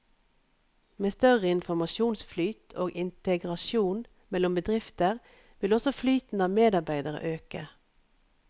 Med større informasjonsflyt og integrasjon mellom bedrifter vil også flyten av medarbeidere øke.